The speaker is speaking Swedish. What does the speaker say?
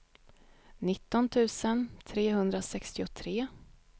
nitton tusen trehundrasextiotre